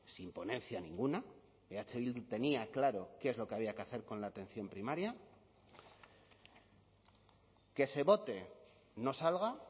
sin ponencia ninguna eh bildu tenía claro qué es lo que había que hacer con la atención primaria que se vote no salga